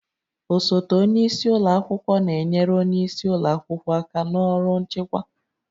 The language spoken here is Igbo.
Osote onye isi ụlọ akwụkwọ na-enyere onye isi ụlọ akwụkwọ aka na ọrụ nchịkwa